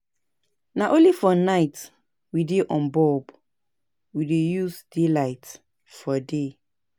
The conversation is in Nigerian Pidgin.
Na only for night we dey on bulb, we dey use daylight for day.